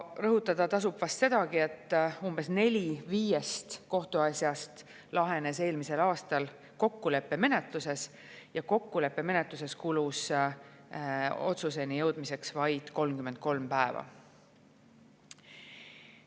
Rõhutada tasub vast sedagi, et umbes neli viiest kohtuasjast lahenes eelmisel aastal kokkuleppemenetluses ja kokkuleppemenetluses kulus otsuseni jõudmiseks keskmiselt vaid 33 päeva.